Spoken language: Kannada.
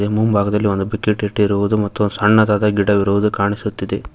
ಮುಂಭಾಗದಲ್ಲಿ ಒಂದು ಬಕೆಟ್ ಇಟ್ಟಿರುವುದು ಮತ್ತು ಒಂದು ಸಣ್ಣದಾದ ಗಿಡವಿರುವುದು ಕಾಣಿಸುತ್ತದೆ.